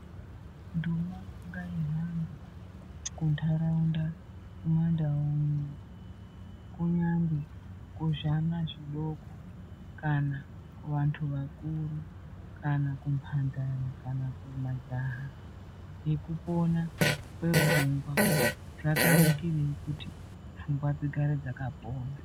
Ndumangaira kuntauranda kumandau uno kunyange kuzvana zvidoko kana kuvantu vakuru kana kumhandara kana kumajaha yekuona kwepfungwa zvakanakirei kuti pfungwa dzigare dzakapona.